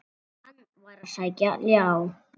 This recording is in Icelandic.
Hann var að sækja ljá.